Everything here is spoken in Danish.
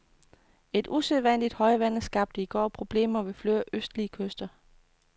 Et usædvanligt højvande skabte i går problemer ved flere østlige kyster.